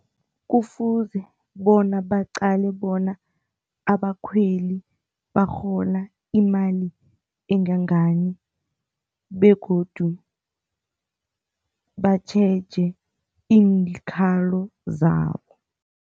Kufuze bona baqale bona abakhweli bakghona imali engangani begodu batjheje iinkhalo zabo.